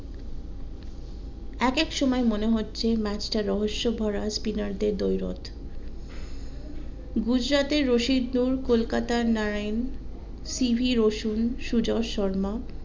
এক এক সময় মনে হচ্ছে ম্যাচটা রহস্যভরা spinner দের দৈরত গুজরাটের রশিদ কলকতার নারিন সিভি রসূল সুজন শর্মা